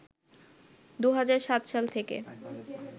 ২০০৭ সাল থেকে